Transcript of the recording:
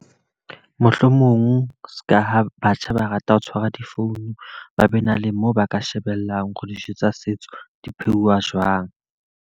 Mohlomong seka ha batjha ba rata ho tshwara difounu, ba be na le moo ba ka shebellang hore dijo tsa setso di pheuwa jwang.